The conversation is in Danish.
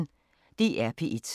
DR P1